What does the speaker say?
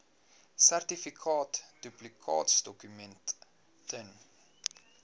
sertifikaat duplikaatdokument ten